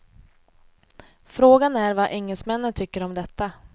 Frågan är vad engelsmännen tycker om detta.